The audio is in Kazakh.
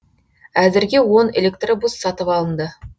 әзірге он электробус сатып алынды